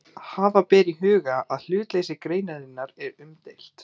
Hafa ber í huga að hlutleysi greinarinnar er umdeilt.